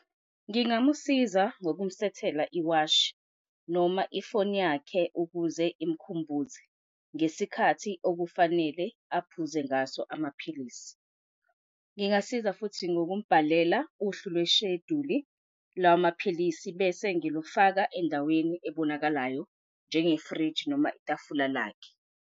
Ngingamusiza, ngokumsethela iwashi noma ifoni yakhe ukuze imkhumbuze ngesikhathi okufanele aphuze ngaso amaphilisi. Ngingasiza futhi ngokumbhalela uhlu lwesheduli lamaphilisi bese ngilufake endaweni ebonakalayo njengefriji noma itafula lakhe.